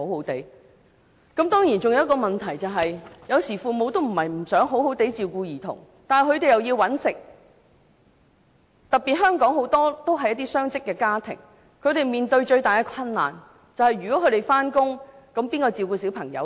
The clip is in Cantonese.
當然還有一個問題，有時父母並非不想好好照顧兒童，但他們需要工作，特別是香港有很多雙職家庭，他們面對最大的困難是如果他們要上班，誰來照顧小朋友呢？